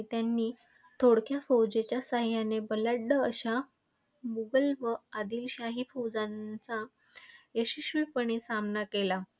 त्यांनी थोडक्या फौजेच्या सहाय्याने बलाढ्य अशा मुघल व आदिलशाही फौजांचा यशस्वीपणे सामना केला.